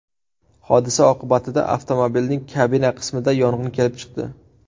Hodisa oqibatida avtomobilning kabina qismida yong‘in kelib chiqdi.